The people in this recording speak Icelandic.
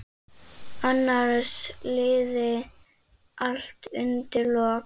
Annars liði allt undir lok.